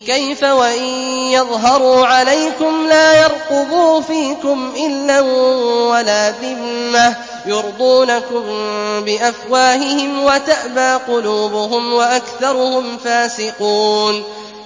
كَيْفَ وَإِن يَظْهَرُوا عَلَيْكُمْ لَا يَرْقُبُوا فِيكُمْ إِلًّا وَلَا ذِمَّةً ۚ يُرْضُونَكُم بِأَفْوَاهِهِمْ وَتَأْبَىٰ قُلُوبُهُمْ وَأَكْثَرُهُمْ فَاسِقُونَ